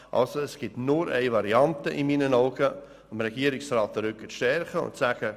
Aus meiner Sicht gibt es nur eine Variante, nämlich dem Regierungsrat den Rücken zu stärken und ihm zu sagen: